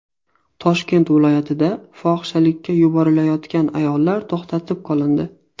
Toshkent viloyatida fohishalikka yuborilayotgan ayollar to‘xtatib qolindi.